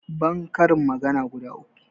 ban karin magana guda uku